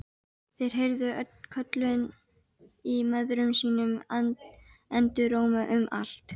Þeir heyrðu köllin í mæðrum sínum enduróma um allt.